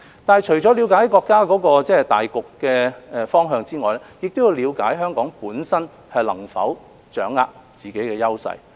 但是，除了了解國家大局的方向外，我們亦要了解香港本身能否掌握自己的優勢。